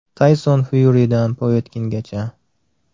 Tayson Fyuridan Povetkingacha.